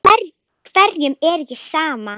Hverjum er ekki sama.